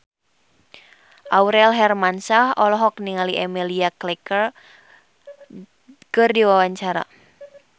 Aurel Hermansyah olohok ningali Emilia Clarke keur diwawancara